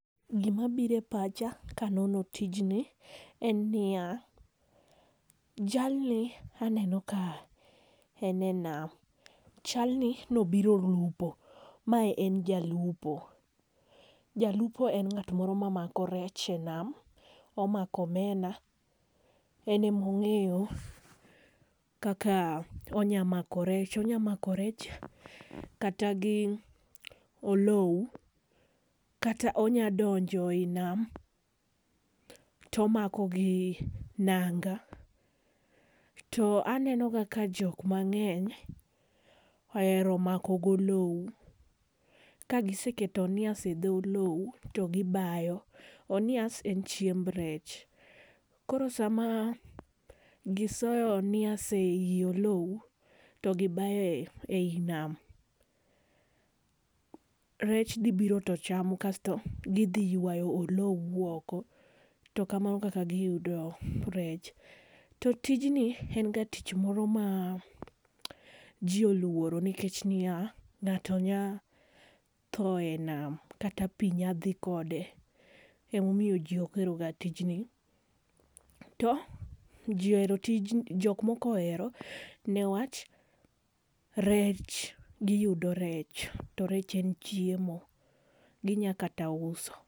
Gi ma biro e pacha ka aneno tijni en ni ya, jalni aneno ka en e nam chal ni ne obiro lupo. Mae en jalupo, jalupo en ng'ama mako rech e nam , omako omena, en ema ongeyo kaka onya mako rech , onya mako rech kata gi olou kata onya donjo e nam to omako gi nanga. To aneno ga ka jok mangeny ohero mako gi olou. Ka giseketo onias e dho oluo to gi bayo ,onias en chiemb rech. Koo saa ma gi soyo onais e i olou to gi bayo e i nam, rech dhi biro to chamo kasto gi dhi ywayo olou to kamano e kaka gi yudo rech. Tij ni en ga tich moro ma ji oluoro nikech ni ya, ngato nya thoo e nam kata onya dhi kode ema omiyo ji ok ohero ga tijni. To ji ohero tijni jok moko ohero ne wach rech gi yudo rech, rech en chiemo gi nya kata uso.